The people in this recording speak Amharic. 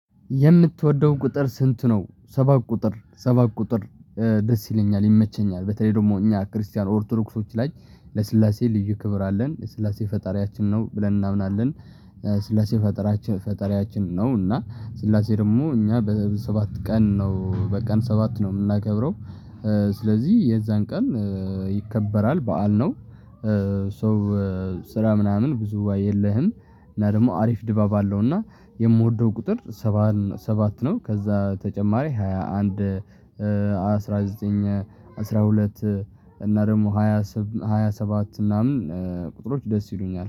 የምትወደው ቁጥር ስንት ነው? ሰባት ቁጥር ሰባት ቁጥር ደስ ይለኛል፣ ይመቸኛል። በተለይ ደግሞ እኛ ክርስቲያን ኦርቶዶክሶች ላይ ለስላሴ ልዩ ክብር አለን። ስላሴ ፈጣሪያችን ነው ብለን እናምናለን ስላሴ ፈጣሪያችን ፈጣሪያችን ነው እና ስላሴ ደግሞ እኛ በሰባት ቀን ነው በቀን ሰባት ነው የምናከብረው ስለዚህ የዛን ቀን ይከበራል በዓል ነው ሶ ስራ ምናምን ብዙ የለህም እና ደግሞ አሪፍ ድባብ አለው እና የምወደው ቁጥር ሰባት ነው ከዛ ተጨማሪ ሃያ አንድ፣ አስራ ዘጠኝ፣ አስራ ሁለት እና ደግሞ ሃያ ሰባት ምናምን ቁጥሮች ደስ ይሉኛል